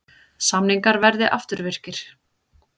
Samningar verði afturvirkir